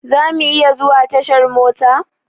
Za mu iya zuwa tashar mota?